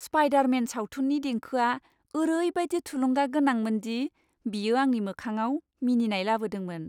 Spider-Man सावथुननि देंखोआ ओरैबायदि थुलुंगा गोनांमोनदि बियो आंनि मोखांआव मिनिनाय लाबोदोंमोन।